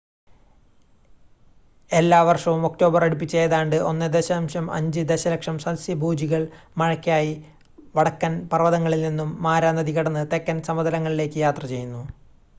എല്ലാവർഷവും ഒക്ടോബർ അടുപ്പിച്ച് ഏതാണ്ട് 1.5 ദശലക്ഷം സസ്യഭോജികൾ മഴക്കായി വടക്കൻ പർവ്വതങ്ങളിൽ നിന്നും മാരാ നദി കടന്ന് തെക്കൻ സമതലങ്ങളിലേക്ക് യാത്ര ചെയ്യുന്നു